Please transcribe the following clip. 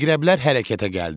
Əqrəblər hərəkətə gəldi.